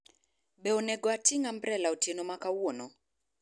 be onego ating’ ambrela otieno ma kawuono?